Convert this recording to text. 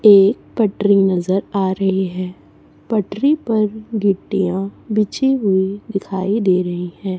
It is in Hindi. एक पटरी नजर आ रही है पटरी पर गिट्टियां बिछी हुई दिखाई दे रही है।